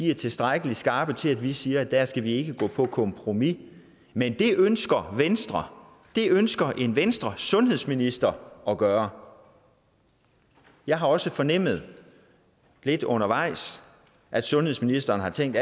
er tilstrækkelig skarpe til at vi siger at der skal vi ikke gå på kompromis men det ønsker venstre det ønsker en venstresundhedsminister at gøre jeg har også fornemmet lidt undervejs at sundhedsministeren har tænkt